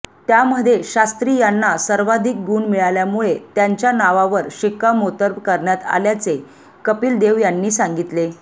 त्यामध्ये शास्त्री यांना सर्वाधिक गुण मिळाल्यामुळे त्यांच्या नावावर शिक्कामोर्तब करण्यात आल्याचे कपिल देव यांनी सांगितले